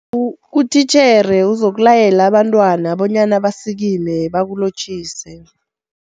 Utitjhere uzokulayela abantwana bonyana basikime bakulotjhise.